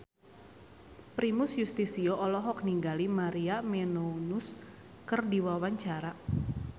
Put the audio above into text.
Primus Yustisio olohok ningali Maria Menounos keur diwawancara